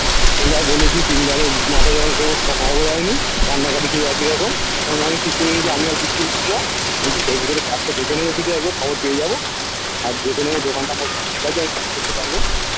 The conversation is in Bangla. সেইবার বলেছি তিনবাড়ে কান্নাকাটি সে একইরকম আমি ঠিক করে নিয়েছি আমি আর কিচ্ছু ভিতরে ভিতরে কাজটা দেখে নেবো খবর পেয়ে যাবো আর দেখে নেবো দোকানটা করতে পারবো